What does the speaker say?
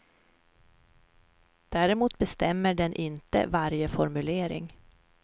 Däremot bestämmer den inte varje formulering.